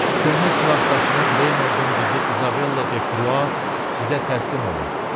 Köhnə silahdaşınız Reynoldun qızı İzabella Dekrua sizə təslim olur.